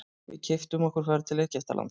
Við keyptum okkur ferð til Egyptalands.